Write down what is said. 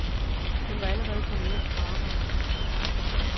Hun var allerede kommet hjem fra arbejde.